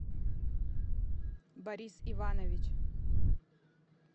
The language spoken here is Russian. борис иванович